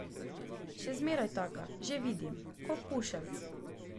Še zmeraj taka, že vidim, ko pušelc.